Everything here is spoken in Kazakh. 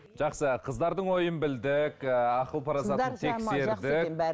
жақсы қыздардың ойын білдік ііі ақыл парасатын